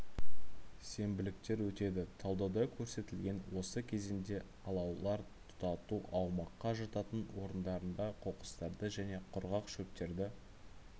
сенбіліктер өтеді талдауда көрсетілген осы кезеңде алаулар тұтату аумаққа жататын орындарында қоқыстарды және құрғақ шөптерді